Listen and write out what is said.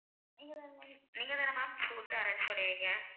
நீங்க தான ma'am நீங்க தான ma'am food arrange பண்ணுவீங்க?